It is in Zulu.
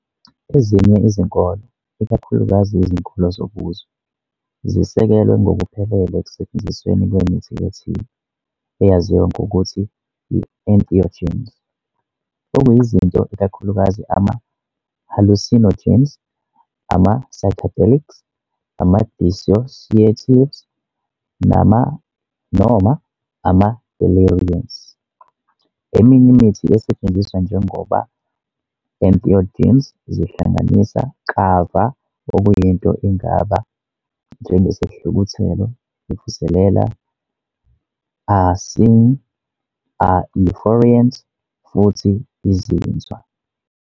Ezinye izinkolo, ikakhulukazi izinkolo zobuzwe, zisekelwe ngokuphelele ekusetshenzisweni kwemithi ethile, eyaziwa ngokuthi i-entheogens, okuyizinto ikakhulukazi ama-hallucinogens, - ama-psychedelics, ama-dissociatives, noma ama-deliriants. Eminye imithi esetshenziswa njengoba entheogens zihlanganisa kava okuyinto ingaba njengesihluthulelo ivuselela, a sine, a euphoriant futhi izinzwa.